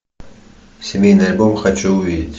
семейный альбом хочу увидеть